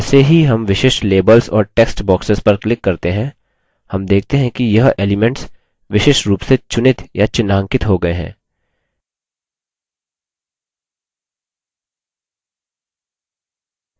अब जैसे ही हम विशिष्ट labels और text boxes पर click करते हैं हम देखते हैं कि यह elements विशिष्ट रूप से चुनित या चिह्नांकित हो गये हैं